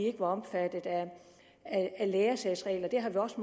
er omfattet af læresagsreglerne det har vi også